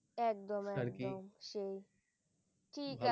একদম একদম সেই ঠিক আছে